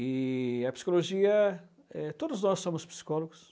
E a psicologia, todos nós somos psicólogos.